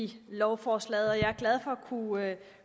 i lovforslaget og jeg er glad for kunne